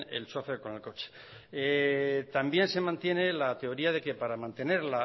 el chofer con el coche también se mantiene la teoría de que para mantener